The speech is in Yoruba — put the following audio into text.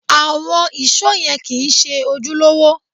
Àwọn ìṣó yẹn kìí ṣe ojúlówó